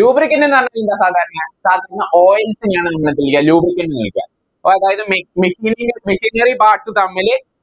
Lubricant എന്ന് പറഞ്ഞാലെന്താ സാധാരണ ചർമ്മ Oils നെയാണ് നമ്മളെന്ത് വിളിക്ക Lubricants ന്ന് വിളിക്ക ഓ അതായത് മിക machinery ന്റെ machinery Parts തമ്മില്